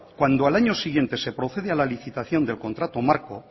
cuando al año siguiente se procede a la licitación del contrato marco